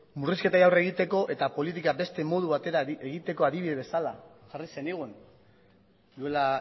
murrizketei aurre egiteko eta politika beste modu batera egiteko adibide bezala jarri zenigun duela